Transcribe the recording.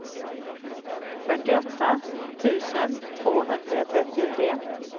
fyrtioåtta tusen tvåhundratrettiotre